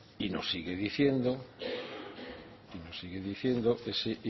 y no sigue diciendo ese